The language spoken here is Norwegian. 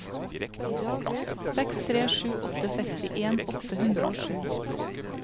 seks tre sju åtte sekstien åtte hundre og sju